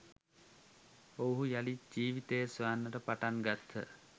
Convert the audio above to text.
ඔවුහු යළිත් ජීවිතය සොයන්නට පටන් ගත්හ